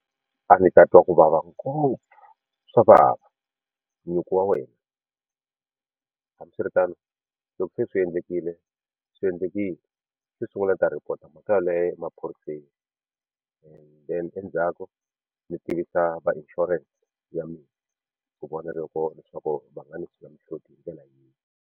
A ndzi ta twa ku vava ngopfu swa vava nyuku wa wena hambiswiritano loko se swi endlekile swi endlekile xo sungula ni ta report mhaka yeleyo emaphoriseni and then endzhaku ndzi tivisa va insurance ya mina ku vona loko leswaku va nga ni sula mihloti hi ndlela yihi.